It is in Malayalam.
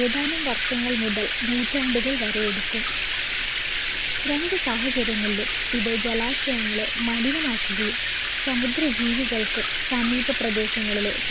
ഏതാനും വർഷങ്ങൾ മുതൽ നൂറ്റാണ്ടുകൾ വരെ എടുക്കും രണ്ടു സാഹചര്യങ്ങളിലും ഇത് ജലാശയങ്ങളെ മലിനമാക്കുകയും സമുദ്ര ജീവികൾക്കും സമീപപ്രദേശങ്ങളിലെ